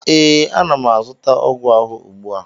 ee, ana m azụta ọgwụ ahụ ugbu a